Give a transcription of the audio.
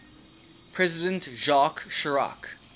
president jacques chirac